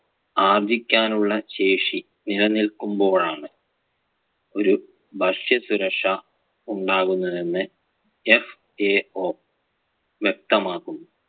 ആർജ്ജിക്കാൻ ഉള്ള ശേഷി നിലനിൽക്കുമ്പോൾ ആണ് ഒരു ഭക്ഷ്യസുരക്ഷാ ഉണ്ടാകുന്നതെന്ന് FAO വ്യക്തമാക്കുന്നു.